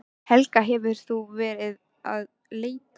Helga: Hefur þú verið að leita?